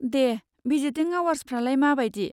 दे, visiting आवार्सफ्रालाय मा बायदि?